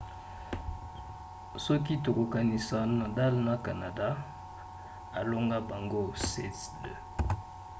soki tokokanisi nadal na canada alonga bango 7–2